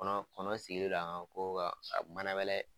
Kɔnɔ kɔnɔ sigilen don an kogo kan ka manabɛlɛ